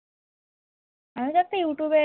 আমি তো একটা youtube এ